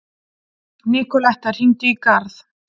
Nikoletta, hringdu í Garð.